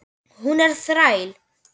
Hún er þræll.